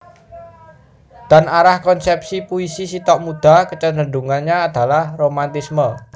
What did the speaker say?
Dan arah konsepsi puisi Sitok muda kecenderungannya adalah romantisme